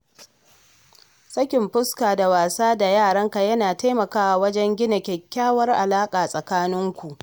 Sakin fuska da wasa da yaranka yana taimakawa wajen gina kyakkyawar alaƙa tsakaninku.